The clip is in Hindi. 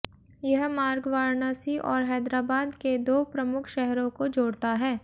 यह मार्ग वाराणसी और हैदराबाद के दो प्रमुख शहरों को जोड़ता है